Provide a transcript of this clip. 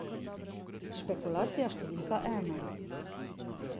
Špekulacija številka ena.